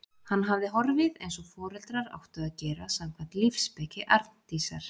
Hann hafði horfið- eins og foreldrar áttu að gera, samkvæmt lífsspeki Arndísar.